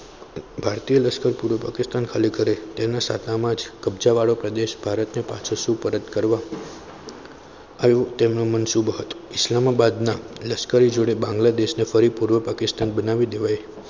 ભારતીય લશ્કર પૂર્વ પાકિસ્તાન ખાલી કરે તેના સાથેમાં જ કબજા વાળો પ્રદેશ પાછો શુભ પરત કરવામાં આવ્યો. તેમનું મનસૂબો હતો લશ્કરી જોડે બાંગ્લાદેશના ફરી પૂર્વ પાકિસ્તાન બનાવી દેવાય.